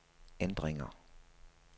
ændringer